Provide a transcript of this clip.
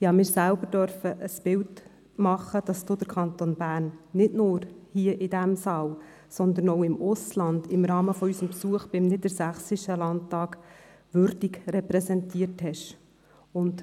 Ich durfte mir selbst ein Bild davon machen, dass Sie den Kanton Bern nicht nur hier, in diesem Saal, sondern auch im Ausland, im Rahmen unseres Besuchs beim Niedersächsischen Landtag, würdig repräsentierten.